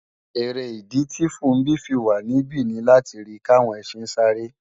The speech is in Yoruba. Èrè ìdí tì Funbí fi wà níbí ni láti rí kàwọn ẹsin sáré